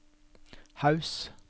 Haus